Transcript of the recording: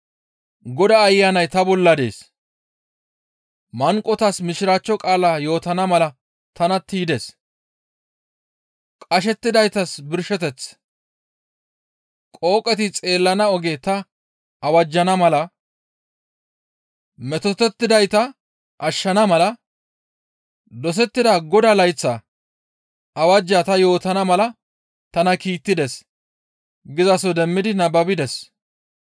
«Godaa Ayanay ta bolla dees; manqotas Mishiraachcho qaala yootana mala tana tiydes; qashettidaytas birsheteth, qooqeti xeellana oge ta awajjana mala, metotettidayta ashshana mala, dosettida Godaa layththa awajjaa ta yootana mala tana kiittides» gizaso demmi nababides.